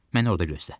Mən orada gözlə.